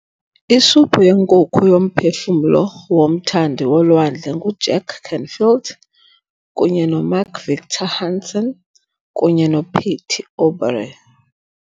Isuphu yenkukhu yoMphefumlo woMthandi woLwandle nguJack Canfield kunye noMark Victor Hansen kunye noPatty Aubery